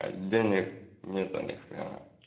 а денег нету ни хрена